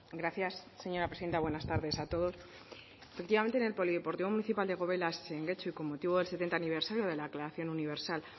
gracias señora presidenta buenas tardes a todos efectivamente en el polideportivo municipal de gobelas en getxo y con motivo del setenta aniversario de la declaración universal